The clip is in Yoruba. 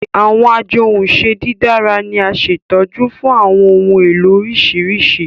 Awọn ajohunše didara ni a ṣetọju fun awọn ohun elo oriṣiriṣi